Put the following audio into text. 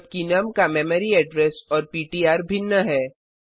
जबकि नुम का memory address और पिट्र भिन्न है